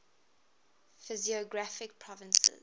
physiographic provinces